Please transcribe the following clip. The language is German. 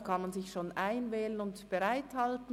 Man kann sich schon einwählen und bereithalten.